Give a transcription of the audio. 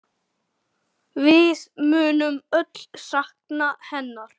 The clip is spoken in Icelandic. Við munum öll sakna hennar.